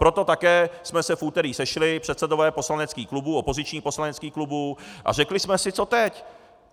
Proto také jsme se v úterý sešli, předsedové poslaneckých klubů, opozičních poslaneckých klubů, a řekli jsme si co teď.